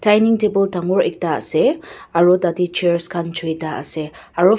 dining table dangor ekta ase aro tatae chairs khan choita ase aro.